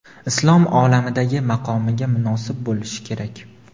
islom olamidagi maqomiga munosib bo‘lishi kerak.